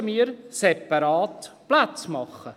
…]», müssen wir separate Plätze machen.